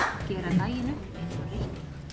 Gera daginn upp einsog reikning.